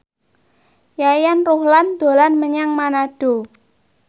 Yayan Ruhlan dolan menyang Manado